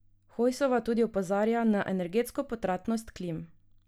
Hojsova tudi opozarja na energetsko potratnost klim.